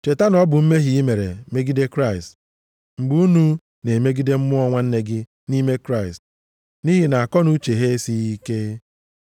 Cheta na ọ bụ mmehie i mere megide Kraịst, mgbe unu na-emegide mmụọ nwanne gị nʼime Kraịst, nʼihi nʼakọnuche ha esighị ike.